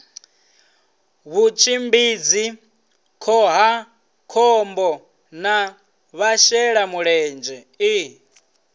vhutshimbidzi khohakhombo na vhashelamulenzhe i